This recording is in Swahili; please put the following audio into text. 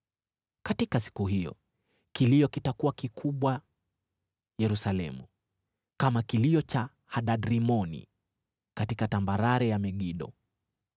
Katika siku hiyo kilio kitakuwa kikubwa Yerusalemu, kama kilio cha Hadad-Rimoni katika tambarare ya Megido.